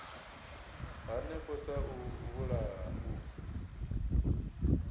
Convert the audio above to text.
hanefho sa u vhulaha u